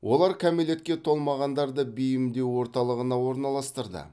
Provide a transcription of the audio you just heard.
олар кәмелетке толмағандарды бейімдеу орталығына орналастырды